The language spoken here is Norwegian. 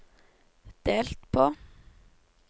delt på